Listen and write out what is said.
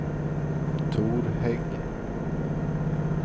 Tor Hägg